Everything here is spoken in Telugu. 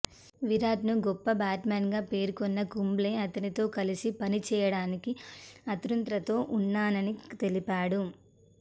విరాట్ను గొప్ప బ్యాట్స్మన్గా పేర్కొన్న కుంబ్లే అతనితో కలిసి పనిచేయడానికి ఆతృతతో ఉన్నానని తెలిపాడు